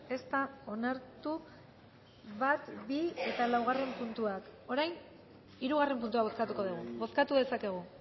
ez da onartu bat bi eta laugarren puntuak orain hirugarren puntua bozkatuko dugu bozkatu dezakegu